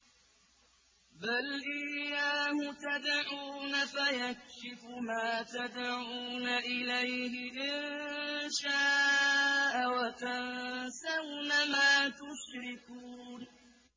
بَلْ إِيَّاهُ تَدْعُونَ فَيَكْشِفُ مَا تَدْعُونَ إِلَيْهِ إِن شَاءَ وَتَنسَوْنَ مَا تُشْرِكُونَ